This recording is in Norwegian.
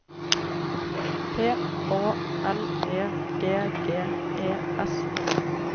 P Å L E G G E S